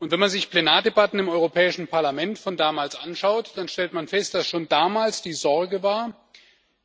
Wenn man sich Plenardebatten im Europäischen Parlament von damals anschaut, dann stellt man fest, dass schon damals die Sorge war